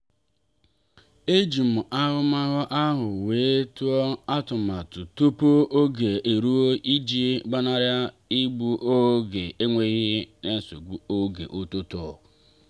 ejim ahụmahụ ahụ wee tụọ atụmatụ tupu oge eruo iji gbanari igbu oge enweghị isi n'oge ụtụtụ.